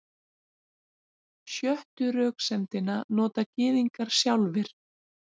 Sjöttu röksemdina nota Gyðingar sjálfir.